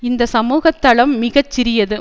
இந்த சமூக தளம் மிக சிறியது